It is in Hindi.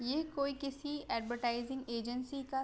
ये कोई किसी एडवरटाइजिंग एजेंसीज का --